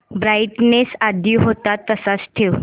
brightness आधी होता तसाच ठेव